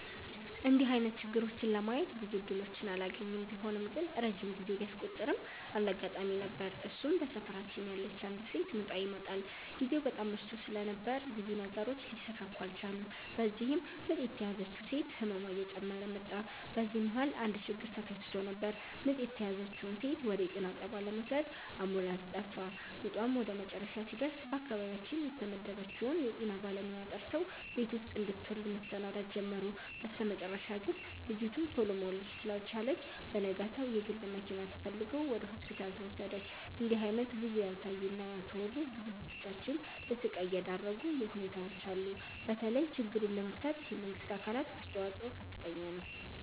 እንድህ አይነት ችግሮችን ለማየት ብዙም እድሎችን አላገኝም። ቢሆንም ግን ረጅም ጊዜ ቢያስቆጥርም አንድ አጋጣሚ ነበር እሱም በሰፈራችን ያለች አንዲት ሴት ምጧ ይመጠል። ግዜው በጣም መሽቶ ስለነበር ብዙ ነገሮች ሊሰካኩ አልቻሉም። በዚህም ምጥ የተያዘችው ሴት ህመሟ እየጨመረ መጣ። በዚህ መሀል አንድ ችግር ተከስቶ ነበር ምጥ የተያዘችውን ሴት ወደ ጤና ጣቢያ ለመውሰድ አምቡላንስ ጠፋ። ምጧም ወደመጨረሻ ሲደርስ በአካባቢያችን የተመደበችውን የጤና ባለሙያ ጠርተው ቤት ውስጥ እንድትወልድ መሰናዳት ጀመሩ። በስተመጨረሻ ግን ልጂቱ ቱሎ መውለድ ስላልቻለች በነጋታው የግል መኪና ተፈልጎ ወደ ሆስፒታል ተወሰደች። እንድህ አይነት ብዙ ያልታዩ እና ያልተወሩ ብዙ እህቶቻችን ለስቃይ የዳረጉ ሁኔታዎች አሉ። በተለይ ችግሩን ለመፍታት የመንግስት አካላት አስተዋጽኦ ከፍተኛ ነው።